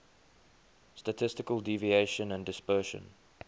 statistical deviation and dispersion